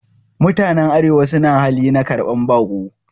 Mutanen arewa suna hali na karban bako